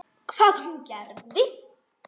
Hvað hún og gerði.